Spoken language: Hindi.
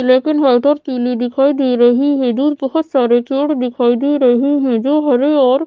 लेकिन व्हाइट और पीली दिखाई दे रही है। दूर बहोत सारे जोड़ दिखाई दे रहे है जो हरे और--